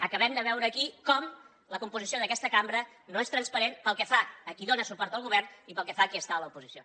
acabem de veure aquí com la composició d’aquesta cambra no és transparent pel que fa a qui dóna suport al govern i pel que fa a qui està a l’oposició